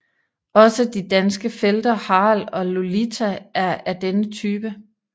Også de danske felter Harald og Lulita er af denne type